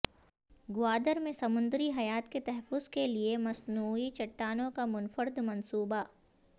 گوادر میں سمندری حیات کے تحفظ کے لیے مصنوعی چٹانوں کا منفرد منصوبہ